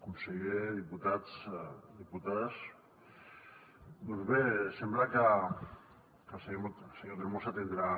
conseller diputats diputades doncs bé sembla que el senyor tremosa tindrà